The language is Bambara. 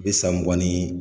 Bd san mugan ni